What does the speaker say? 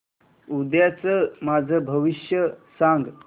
उद्याचं माझं भविष्य सांग